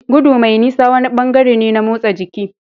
Gudu mai nisa wani bangare ne na motsa jiki.